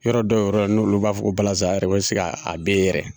Yɔrɔ dɔw yɔrɔ n' olu b'a fɔ balazsa yɛrɛ ɛsike a be yen yɛrɛ